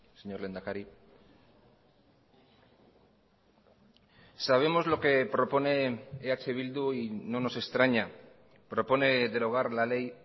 señor lehendakari sabemos lo que propone eh bildu y no nos extraña propone derogar la ley